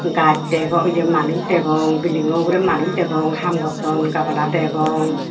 gaj degong ye manuj degong building o ugure manuj degong ham gotton gabala degong.